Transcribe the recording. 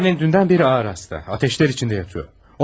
Annen dündən bəri ağır xəstə, atəşlər içində yatır.